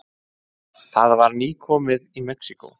Það var nýkomið í Mexíkó.